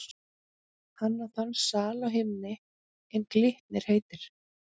Hann á þann sal á himni, er Glitnir heitir.